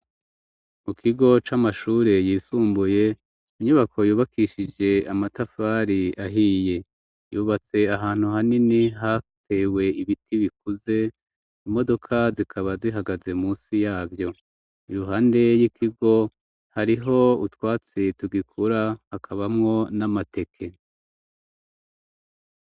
Mu kigo c'amashure yisumbuye inyubako yubakishije amatafari ahiye, yubatse ahantu hanini hatewe ibiti bikuze, imodoka zikaba zihagaze munsi yavyo ,iruhande y'ikigo hariho utwatsi tugikura hakabamwo n'amateke.